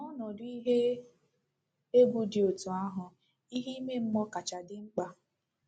N’ọnọdụ ihe egwu dị otú ahụ, ìhè ime mmụọ kacha dị mkpa.